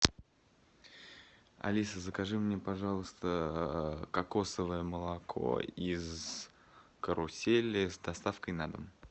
алиса закажи мне пожалуйста кокосовое молоко из карусели с доставкой на дом